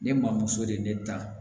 Ne maa muso de ye ne dan